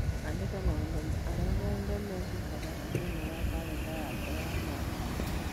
Andĩka maũndũ marĩa mothe mekĩkaga thĩinĩ wa kalendarĩ yakwa ya Machi